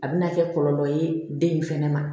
A bɛna kɛ kɔlɔlɔ ye den in fana ma